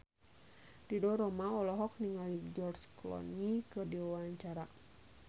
Ridho Roma olohok ningali George Clooney keur diwawancara